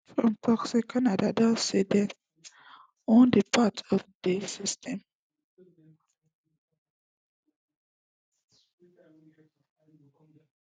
trump tok say canada don say dem wan dey part of di system